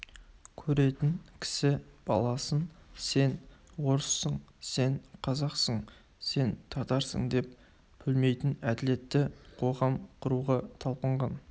көретін кісі баласын сен орыссың сен қазақсың сен татарсың деп бөлмейтін әділетті қоғам құруға талпынған